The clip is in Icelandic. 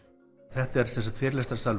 þetta er